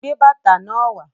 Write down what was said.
Gbé bàtà náà wà